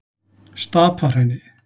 Stapahrauni